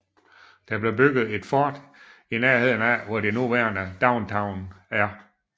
Der blev bygget et fort i nærheden af hvor det nuværende downtown er